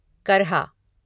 करहा